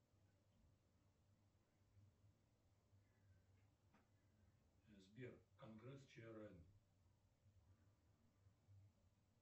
сбер конгресс чрн